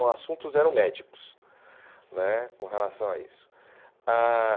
Os assuntos eram médicos né com relação a isso. Ãh